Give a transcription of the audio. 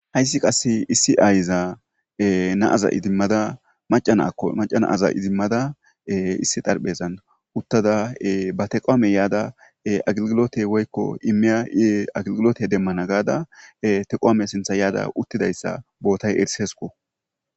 Hayssi qasse issi ayza naaza idimmada macanako macanaaza izimmada issi darphezan uttada ba teqoame yaada aglgilote woykko imeya i aglgilote demmana gaada teqoame sintha yaada uttidayssa bootay erisesko.